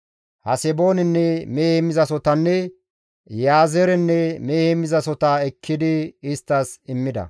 Haseboonenne mehe heemmizasohotanne Iyaazeerenne mehe heemmizasohota ekkidi isttas immida.